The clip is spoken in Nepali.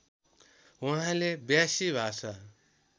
उहाँले व्यासी भाषा